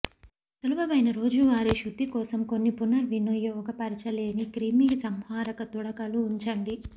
సులభమైన రోజువారీ శుద్ధి కోసం కొన్ని పునర్వినియోగపరచలేని క్రిమిసంహారక తుడకలు ఉంచండి